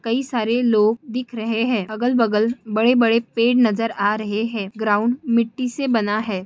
कई सारे लोग दिख रहे है अगल बगल बड़े बड़े पेड नजर आ रहे है ग्राउन्ड मिट्टी से बना है ।